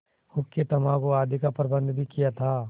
हुक्केतम्बाकू आदि का प्रबन्ध भी किया था